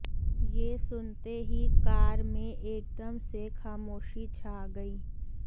ये सुनते ही कार में एकदम से खामोशी छा गई